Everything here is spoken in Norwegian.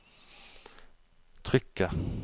trykket